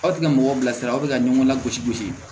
Aw tɛ ka mɔgɔ bilasira aw bɛ ka ɲɔgɔn lagosi gosi